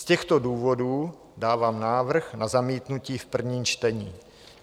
Z těchto důvodů dávám návrh na zamítnutí v prvním čtení.